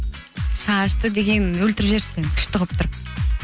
шашты деген өлтіріп жіберіпсің күшті қылып тұрып